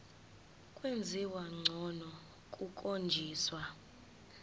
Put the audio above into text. kwenziwa ngcono kukhonjiswa